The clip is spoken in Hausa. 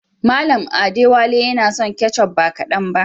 Mallam Adewale yana son ketchup ba kadan ba.